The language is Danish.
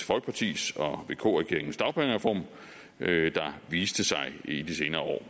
folkeparti og vk regeringens dagpengereform der viste sig i de senere år